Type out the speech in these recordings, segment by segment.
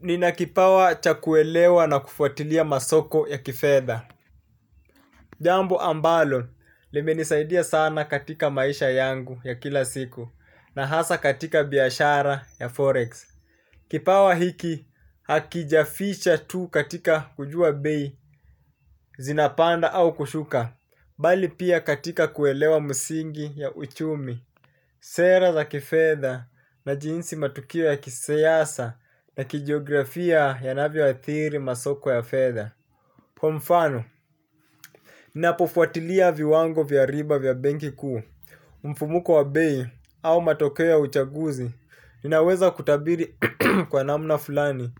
Nina kipawa cha kuelewa na kufuatilia masoko ya kifedha. Jambo ambalo, limenisaidia sana katika maisha yangu ya kila siku. Na hasa katika biashara ya Forex Kipawa hiki, hakijaficha tu katika kujua Bei Zinapanda au kushuka. Bali pia katika kuelewa msingi ya uchumi. Sera za kifedha na jinsi matukio ya kisiasa na kijiografia yanavyo athiri masoko ya fedha kwa mfano, ninapofuatilia viwango vya riba vya benki kuu mfumuko wa bei au matokeo ya uchaguzi. Ninaweza kutabiri kwa namna fulani.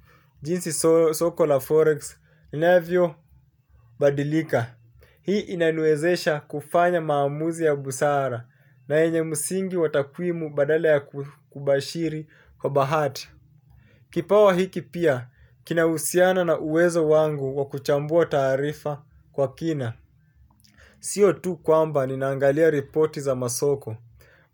Jinsi soko la forex, linavyobadilika. Hii inaniwezesha kufanya maamuzi ya busara na yenye msingi wa takwimu badala ya kubashiri kwa bahati. Kipawa hiki pia, kinahusiana na uwezo wangu wa kuchambua taarifa kwa kina. Sio tu kwamba ninaangalia ripoti za masoko,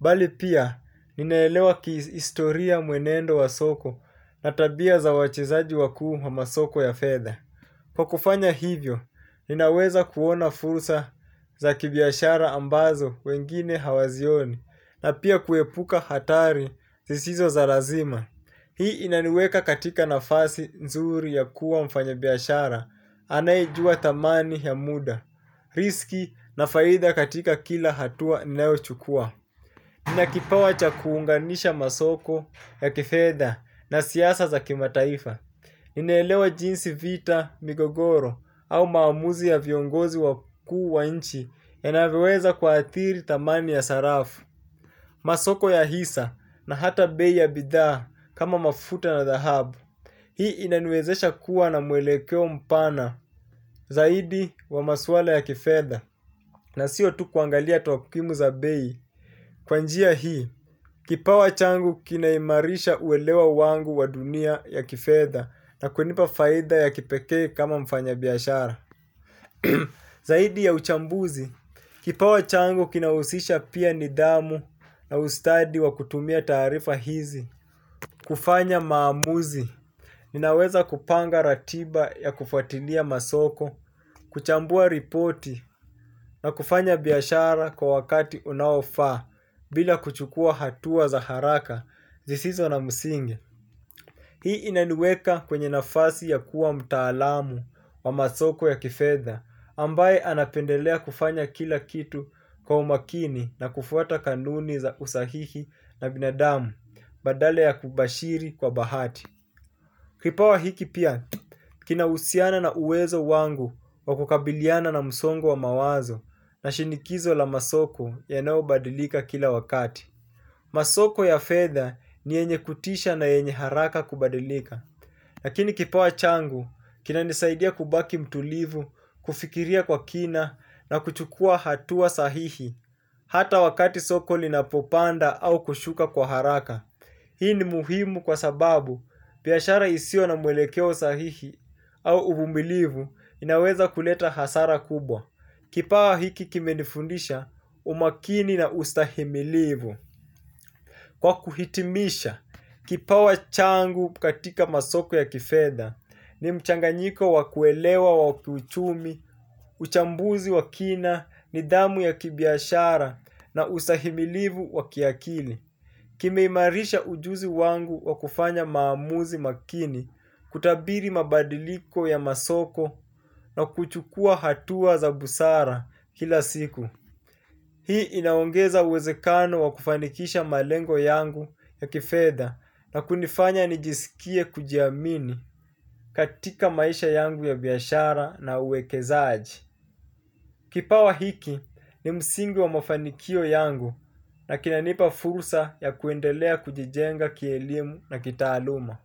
bali pia ninaelewa kihistoria mwenendo wa soko na tabia za wachezaji wakuu wa masoko ya fedha. Kwa kufanya hivyo, ninaweza kuona fursa za kibiashara ambazo wengine hawazioni, na pia kuepuka hatari zisizo za lazima. Hii inaniweka katika nafasi nzuri ya kuwa mfanya biashara, anayejua thamani ya muda, riski na faida katika kila hatua ninayochukua. Nina kipawa cha kuunganisha masoko ya kifedha na siasa za kimataifa. Ninaelewa jinsi vita, migogoro au maamuzi ya viongozi wakuu wa nchi yanavyoweza kuathiri dhamani ya sarafu. Masoko ya hisa na hata bei ya bidhaa kama mafuta na dhahabu. Hii inaniwezesha kuwa na mwelekeo mpana zaidi wa maswala ya kifedha. Na sio tu kuangalia takwimu za bei kwa njia hii, kipawa changu kinaimarisha uelewa wangu wa dunia ya kifedha na kunipa faida ya kipekee kama mfanyibiashara. Zaidi ya uchambuzi, kipawa changu kinahusisha pia nidhamu na ustadi wa kutumia taarifa hizi. Kufanya maamuzi, ninaweza kupanga ratiba ya kufuatilia masoko, kuchambua ripoti na kufanya biashara kwa wakati unaofaa bila kuchukua hatua za haraka zisizo na msingi. Hii inaniweka kwenye nafasi ya kuwa mtaalamu wa masoko ya kifedha ambaye anapendelea kufanya kila kitu kwa umakini na kufwata kanuni za usahihi na binadamu badala ya kubashiri kwa bahati. Kipawa hiki pia, kinahusiana na uwezo wangu wa kukabiliana na msongo wa mawazo na shinikizo la masoko yanayo badilika kila wakati. Masoko ya fedha ni yenye kutisha na yenye haraka kubadilika. Lakini kipawa changu, kinanisaidia kubaki mtulivu, kufikiria kwa kina na kuchukua hatua sahihi hata wakati soko linapopanda au kushuka kwa haraka. Hii ni muhimu kwa sababu biashara isio na mwelekeo sahihi au uvumilivu inaweza kuleta hasara kubwa. Kipawa hiki kimenifundisha umakini na ustahimilivu. Kwa kuhitimisha, kipawa changu katika masoko ya kifedha ni mchanganyiko wakuelewa wakiuchumi, uchambuzi wakina, nidhamu ya kibiashara na ustahimilivu wakiakili. Kimeimarisha ujuzi wangu wakufanya maamuzi makini kutabiri mabadiliko ya masoko na kuchukua hatua za busara kila siku. Hii inaongeza uwezekano wakufanikisha malengo yangu ya kifedha na kunifanya nijisikie kujiamini katika maisha yangu ya biashara na uwekezaji. Kipawa hiki ni msingi wa mafanikio yangu na kinanipa fursa ya kuendelea kujijenga kielimu na kitaaluma.